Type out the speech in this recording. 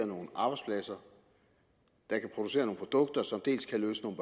nogle arbejdspladser der kan producere nogle produkter som dels kan løse nogle